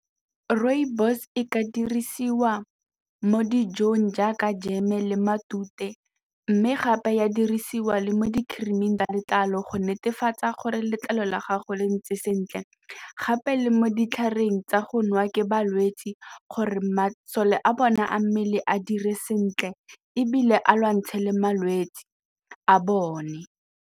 Rooibos e ka dirisiwa mo dijong jaaka jeme le matute mme gape e a dirisiwa le mo di-cream-ing tsa letlalo go netefatsa gore letlalo la gago le ntse sentle gape le mo ditlhareng tsa go nwa ke balwetse gore masole a bone a mmele a dire sentle ebile a lwantshe le malwetse a bone.